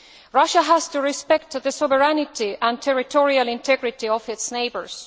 Russia has to respect the sovereignty and territorial integrity of its neighbours.